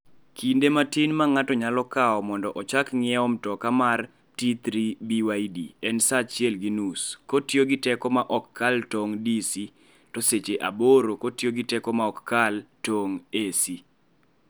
Kinde matin ma ng'ato nyalo kawo mondo ochak ng'iewo mtoka mar T3 BYD en sa achiel gi nus kotiyo gi teko ma ok kal tong ' (DC) to seche aboro kotiyo gi teko ma ok kal tong ' (AC).